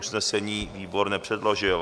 Usnesení výbor nepředložil.